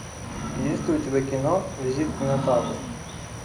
есть ли у тебя кино визит к минотавру